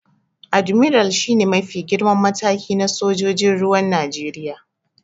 Admiral shi ne mafi girman mataki na sojojin ruwan Najeriya.